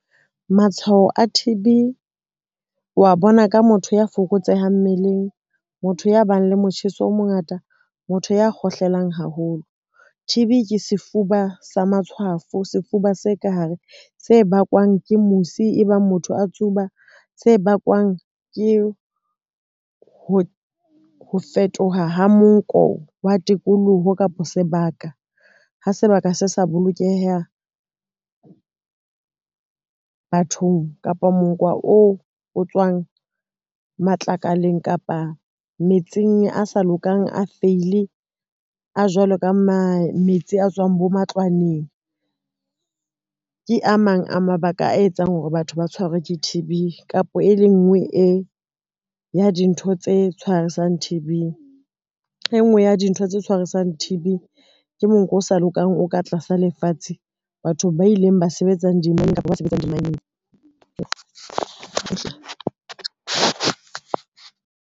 Matshwao a T_B, wa bona ka motho ya fokotsehang mmeleng, motho ya bang le motjheso o mongata, motho ya kgohlelang haholo. T_B ke sefuba sa matshwafo, sefuba se ka hare se bakwang ke musi e bang motho a tsuba, se bakwang ke ho fetoha ha monko wa tikoloho kapa sebaka ha sebaka se sa bolokeha bathong. Kapo monko oo o tswang matlakaleng kapa metsing a sa lokang, a feile a jwalo ka metsi a tswang bo matlwaneng, ke a mang a mabaka a etsang hore batho ba tshwerwe ke T_B kapo e le nngwe e ya dintho tse tshwarisang T_B. E nngwe ya dintho tse tshwarisang n T_B ke monko o sa lokang o ka tlasa lefatshe, batho ba ileng ba sebetsa dimaeneng .